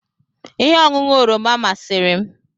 Ihe ọṅụṅụ oroma masịrị m